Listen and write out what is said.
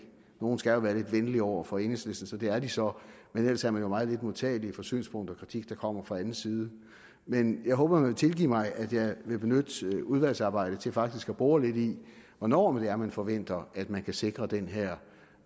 nogle skal jo være lidt venlige over for enhedslisten så det er de så men ellers er man jo meget lidt modtagelig for synspunkter og kritik der kommer fra anden side men jeg håber man vil tilgive mig at jeg vil benytte udvalgsarbejdet til faktisk at bore lidt i hvornår det er man forventer at man kan sikre den her